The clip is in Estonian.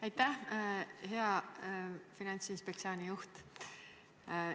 Aitäh, hea Finantsinspektsiooni juht!